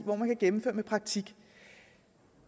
hvor man kan gennemføre med praktik